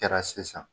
Kɛra sisan